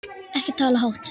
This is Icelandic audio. Ekki tala hátt!